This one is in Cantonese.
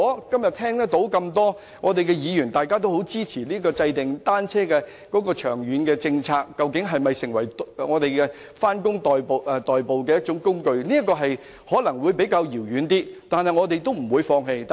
今天我聽到多位議員表示也支持制訂長遠的單車政策，探討單車能否成為上班的代步工具，目標可能較為遙遠，但我們不會放棄。